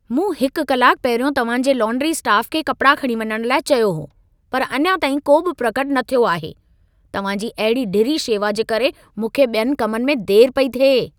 मूं हिकु कलाकु पहिरियों तव्हां जे लौन्ड्री स्टाफ़ खे कपिड़ा खणी वञण लाइ चयो हो। पर अञा ताईं को बि प्रकट न थियो आहे। तव्हां जी अहिड़ी ढिरी शेवा जे करे मूंख़े ॿियनि कमनि में देर पई थिए।